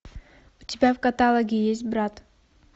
у тебя в каталоге есть брат